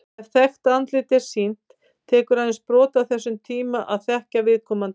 Ef þekkt andlit er sýnt, tekur aðeins brot af þessum tíma að þekkja viðkomandi.